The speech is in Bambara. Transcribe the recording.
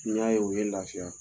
N y'a ye o ye n lafiya;